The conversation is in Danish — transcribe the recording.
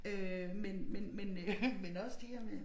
Øh men men men øh men også det her med